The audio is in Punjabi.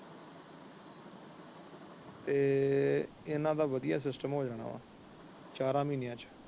ਤੇ ਇਹਨਾਂ ਦਾ ਵਧੀਆ ਸਿਸਟਮ ਹੋ ਜਾਣਾ ਵਾ ਚਾਰਾ ਮਹੀਨਿਆਂ ਵਿੱਚ।